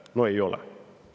No ei ole.